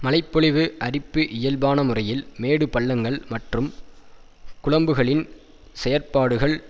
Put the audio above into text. மழைபொழிவு அரிப்பு இயல்பான முறையில் மேடுபள்ளங்கள் மற்றும் குழம்புகளின் செயற்பாடுகள்